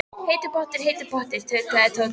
Heitur pottur, heitur pottur. tautaði Tóti.